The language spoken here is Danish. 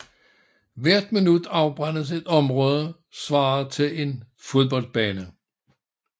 Hvert minut afbrændes et område svarende til en fodboldbane